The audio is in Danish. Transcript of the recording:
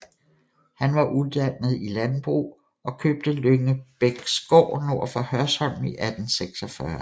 Han var uddannet i landbrug og købte Lyngebæksgård nord for Hørsholm i 1846